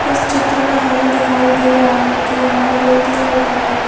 इस चित्र में हमे दिखाई दे रहा है की यहाँ दो तिन दुकाने है।